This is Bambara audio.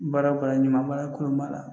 Baara o baara ɲuman bara kolon b'a la